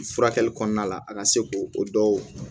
Furakɛli kɔnɔna la a ka se ko o dɔw